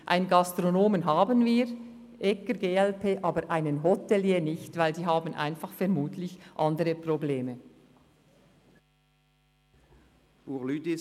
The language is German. Einen Gastronomen haben wir mit Grossrat Egger, glp, aber einen Hotelier haben wir nicht, weil die Hoteliers vermutlich einfach andere Probleme haben.